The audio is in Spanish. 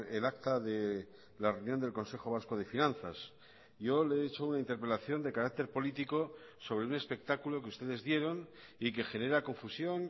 el acta de la reunión del consejo vasco de finanzas yo le he hecho una interpelación de carácter político sobre un espectáculo que ustedes dieron y que genera confusión